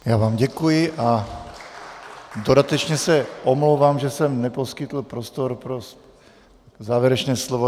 Já vám děkuji a dodatečně se omlouvám, že jsem neposkytl prostor pro závěrečné slovo.